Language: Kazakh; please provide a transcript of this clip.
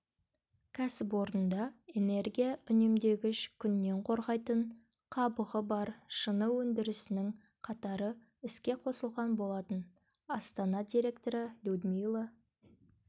кәсіпорында энергия үнемдегіш күннен қорғайтын қабығы бар шыны өндірісінің қатары іске қосылған болатын астана директоры людмила